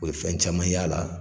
O ye fɛn caman y'a la